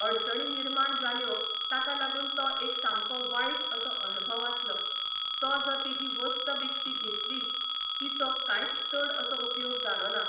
अडचणी निर्माण जाल्यो ताका लागून तो एक सामको वायट असो अणभव आसलो. तो जो तीजी वस्त विकत घेतली तिचो कांयच चड असो उपयोग जालो ना.